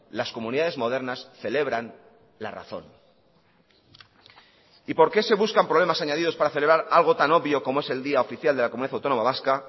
las comunidades modernas celebran la razón y por qué se buscan problemas añadidos para celebrar algo tan obvio como es el día oficial de la comunidad autónoma vasca